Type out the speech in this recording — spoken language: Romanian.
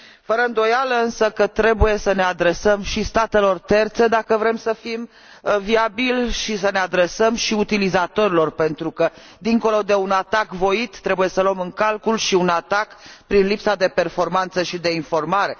Fără îndoială, însă, trebuie să ne adresăm și statelor terțe, dacă vrem să fim viabili și să ne adresăm și utilizatorilor, pentru că, dincolo de un atac voit, trebuie să luăm în calcul și un atac prin lipsa de performanță și de informare.